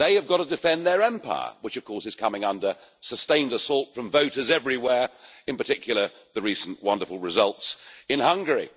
They have got to defend their empire, which is coming under sustained assault from voters everywhere, in particular the recent wonderful results in Hungary.